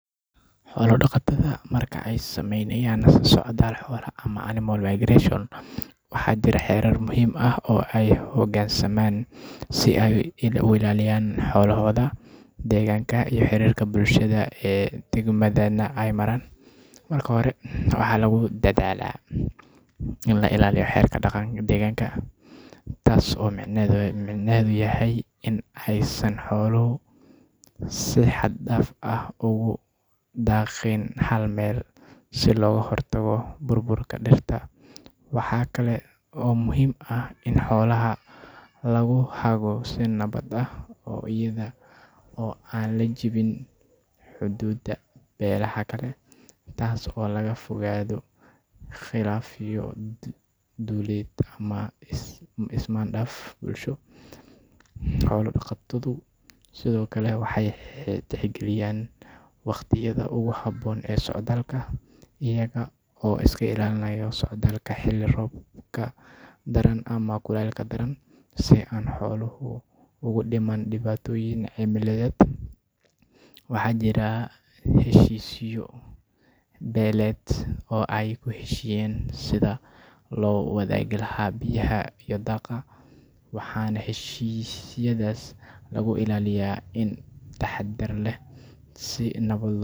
Xola daqataada marka ee sameynayan socdal xola ama animal imagination waxaa jira xerar muhiim ah ee hogan saman si ee u ilaliyan xola daqatada ama ee sameyan ama animal imagination deganka xirirka bulshaada ee degmadan ee maran marka hore waxaa lagu dadhala in la ilaliyo xerka daqanka deganka tas oo micnahedhu yahay ee san xoluhu si xag daf ah daqin hal meel si loga hortago bur burka waxaa kale oo muhiim ah in xolaha lagu hago si nawaad ah oo iyada oo ab lajiwinin xududa beera kale tas oo laga fogado qilafyo duliyeed ama isman daf bulshaaded xola daqatadu waxee sithokale tix galiyan wax habon ee socdalka ee iyaga iska ilaliyan xiliga robka daran ama kulelka daran si an xoluhu ugu diman diwatoyin cimiladed waxaa jiraa heshisyo deeleed oo ee ku heshiyen lawa wadhagaha biya daqa waxana heshisyaadas lagu ilaliya in taxadar leh si nawaded.